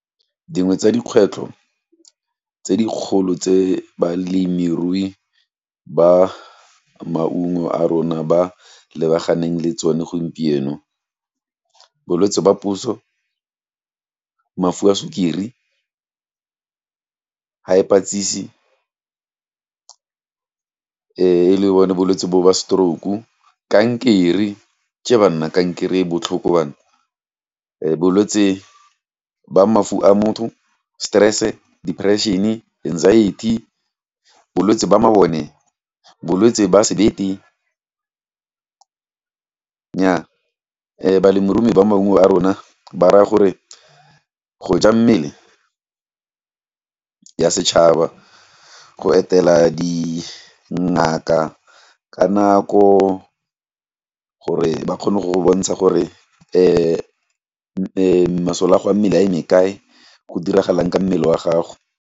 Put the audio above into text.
Dingwe tsa dikgwetlho tse dikgolo tse balemirui ba maungo a rona ba lebaganeng le tsone gompieno, bolwetse ba puso, mafu a sukiri, e le bone bolwetse bo ba stroke, kankere, kankeree e botlhoko banna, bolwetse ba mafu a motho, stress-e, depression-e, anxiety, bolwetsi ba mabone, bolwetsi ba sebete, nyaa balemirui ba maungo a rona ba raya gore, go ja mmele ya setšhaba, go etela di ngaka ka nako, gore ba kgone go go bontsha gore, masole a go a mmele a eme kae, go diragalang ka mmele wa gago.